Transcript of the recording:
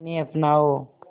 इन्हें अपनाओ